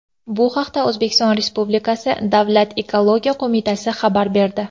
Bu haqda O‘zbekiston Respublikasi Davlat ekologiya qo‘mitasi xabar berdi.